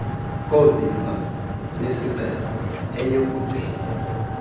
koovimba besixeko ayekugcinwa